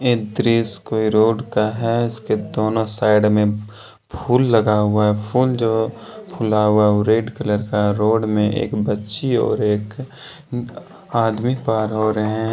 ये दृश्य कोई रोड का हैइसके दोनों साइड में फूल लगा हुआ हैफूल जो फुला हुआ वो रेड कलर का है रोड में एक बच्ची और एक आदमी पार हो रहे हैं।